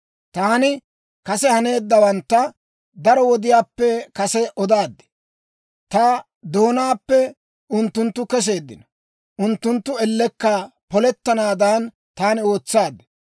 «Taani kase haneeddawantta daro wodiyaappe kase odaad; ta doonaappe unttunttu keseeddino. Unttunttu ellekka polettanaadan, taani ootsaad.